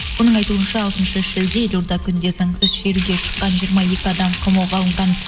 оның айтуынша алтыншы шілде елорда күнінде заңсыз шеруге шыққан жиырма екі адам қамауға алынған